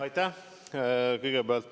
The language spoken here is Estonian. Aitäh!